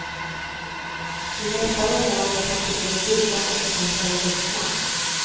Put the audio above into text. I nästa roman är kanske både flickan och författaren vuxna.